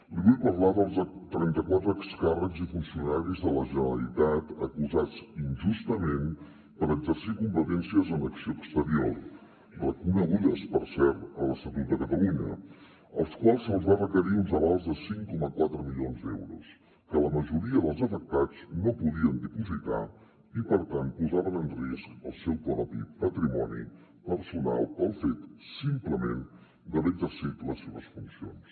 li vull parlar dels trenta quatre excàrrecs i funcionaris de la generalitat acusats injustament per exercir competències en acció exterior reconegudes per cert a l’estatut de catalunya als quals se’ls va requerir uns avals de cinc coma quatre milions d’euros que la majoria dels afectats no podien dipositar i per tant posaven en risc el seu propi patrimoni personal pel fet simplement d’haver exercit les seves funcions